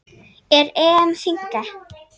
Er EM þynnka?